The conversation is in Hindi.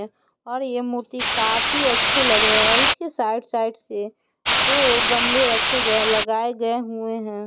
और ये मूर्ति काफी अच्छी लग रहे है इसके साइड साइड से दो गमले रखे गए लगाए गए हुए हैं।